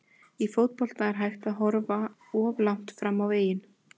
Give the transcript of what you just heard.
Í fótbolta er ekki hægt að horfa of langt fram á veginn.